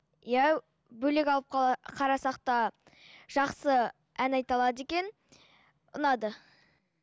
иә бөлек алып қарасақ та жақсы ән айта алады екен ұнады